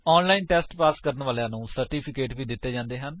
online test pass ਕਰਨ ਵਾਲਿਆਂ ਨੂੰ ਸਰਟੀਫਿਕੇਟ ਵੀ ਦਿੱਤੇ ਜਾਂਦੇ ਹਨ